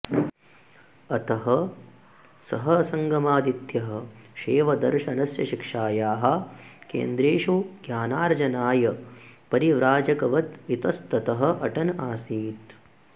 अतः सः सङ्गमादित्यः शैवदर्शनस्य शिक्षायाः केन्द्रेषु ज्ञानार्जनाय परिव्राजकवद् इतस्ततः अटन् आसीत्